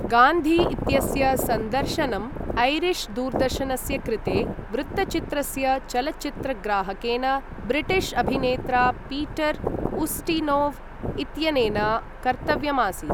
गान्धी इत्यस्य सन्दर्शनम् ऐरिश् दूरदर्शनस्य कृते वृत्तचित्रस्य चलच्चित्रग्राहकेन ब्रिटिश् अभिनेत्रा पीटर् उस्टिनोव् इत्यनेन कर्तव्यम् आसीत्।